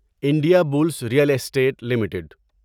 India bills real estate limited